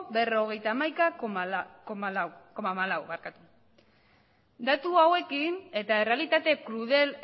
berrogeita hamaika koma hamalaua datu hauekin eta errealitate krudel